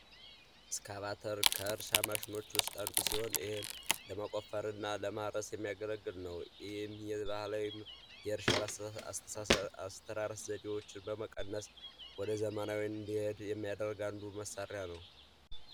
እስካቫተር ከእርሻ ማሽኖች ውስጥ አንዱ ሲሆን ይህም ለመቆፈር እና ለማረስ የሚያገለግል ነው። ይህም የባህላዊ የእርሻን አስተራረስ ዘዴዎች በመቀነስ ወደዘመናዊው እንዲሄድ የሚያደርግ አንዱ መሳሪያ ነው።